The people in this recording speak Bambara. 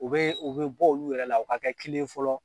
O be o be bɔ olu yɛrɛ la o ka kɛ kelen ye fɔlɔ